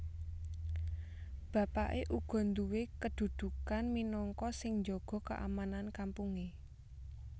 Bapaké uga nduwé kadudukan minangka sing njaga keamanan kampungé